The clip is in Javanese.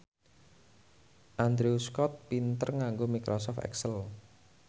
Andrew Scott pinter nganggo microsoft excel